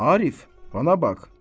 Arif, bana bax.